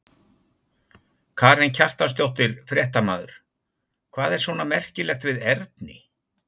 Karen Kjartansdóttir, fréttamaður: Hvað er svona merkilegt við erni?